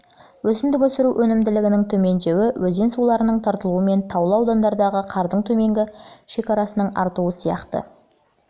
өсімдік өсіру өнімділігінің төмендеуі өзен суларының тартылуы мен таулы аудандардағы қардың төменгі шекарасының артуы сияқты ауа райының бірнеше әлеуетті